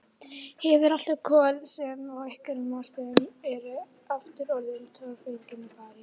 Hefur alltaf kol sem af einhverjum ástæðum eru aftur orðin torfengin í París.